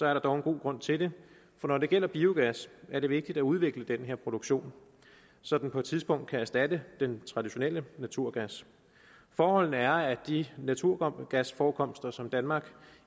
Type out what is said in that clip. er der dog en god grund til det for når det gælder biogas er det vigtigt at udvikle den her produktion så den på et tidspunkt kan erstatte den traditionelle naturgas forholdene er at de naturgasforekomster som danmark